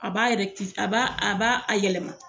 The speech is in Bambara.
A b'a rɛkiti a ba a ba a yɛlɛma.